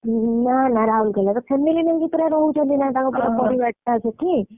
ଉଁ ନାଁ ନାଁ ରାଉଲକେଲା ରେ family ନେଇକି ରହୁଛନ୍ତି ନାଁ ତାଙ୍କ ପରିବାର ଟା ସେଠୀ।